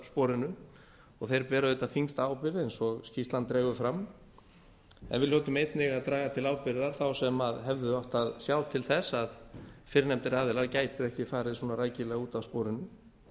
sporinu og þeir bera auðvitað þyngsta ábyrgð eins og skýrslan dregur fram en við hljótum einnig að draga til ábyrgðar þá sem hefðu átt að sjá til þess að fyrrnefndir aðilar gætu ekki farið svona rækilega út af sporinu